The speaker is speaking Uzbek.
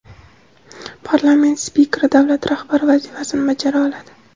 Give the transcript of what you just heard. parlament spikeri davlat rahbari vazifasini bajara oladi.